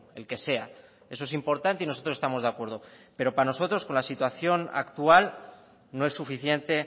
el que sea eso es importante y nosotros estamos de acuerdo pero para nosotros con la situación actual no es suficiente